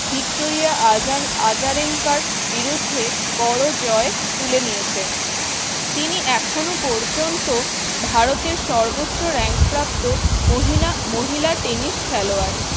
Victoria আজার আজারেঙ্কার বিরুদ্ধে বড় জয় তুলে নিয়েছে। তিনি এখনো পর্যন্ত ভারতের সর্বোচ্চ rank প্রাপ্ত মহিলা মহিলা টেনিস খেলোয়াড়।